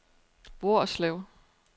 Hvorslev